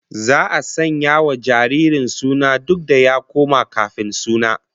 Za'a sanya wa jaririn suna duk da ya koma kafin suna